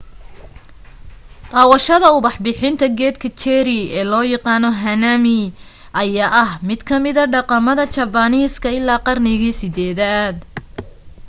daawadashada ubax bixinta geedka cherry ee loo yaqaano hanami ayaa ah mid kamida dhaqamada jabaaniiska ilaa qarnigii 8-daad